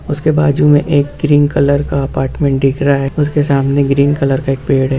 उसके बाजु में एक क्रीम कलर का अपार्टमेंट दिख रहा है उसके सामने ग्रीन कलर का एक पेड़ है।